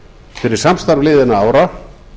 fyrir samstarf liðinna ára